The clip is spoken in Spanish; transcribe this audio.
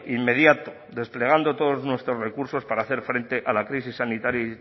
inmediato desplegando todos nuestros recursos para hacer frente a la crisis sanitaria